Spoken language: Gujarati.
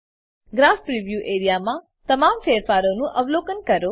ગ્રાફ પ્રિવ્યૂ એઆરઇએ માં તમામ ફેરફારોનું અવલોકન કરો